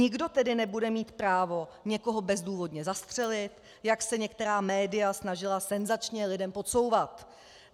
Nikdo tedy nebude mít právo někoho bezdůvodně zastřelit, jak se některá média snažila senzačně lidem podsouvat.